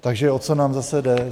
Takže o co nám zase jde?